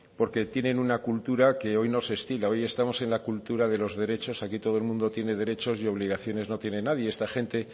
porque tienen una cultura que hoy no se estila hoy estamos en la cultura de los derechos aquí todo el mundo tiene derechos y obligaciones no tiene nadie esta gente